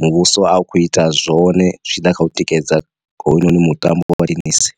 muvhuso a u kho ita zwone zwi tshi ḓa kha u tikedza hounoni mutambo wa thenisi.